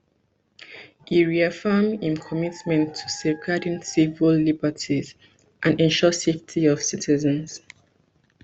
e reaffirm im commitment to safeguarding civil liberties and ensure safety of citizens